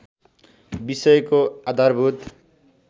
विषयको आधारभूत